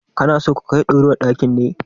Kana so ka kai durowar ɗakin ne?